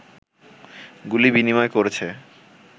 গুলি বিনিময় করেছে